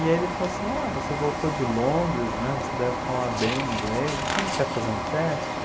E aí ele falou assim, ah, você voltou de Londres, né, você deve falar bem inglês, você não quer fazer um teste?